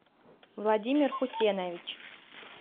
владимир хусенович